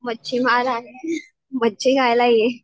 मच्छीमार आहे मच्छी खायला ये.